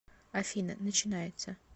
афина начинается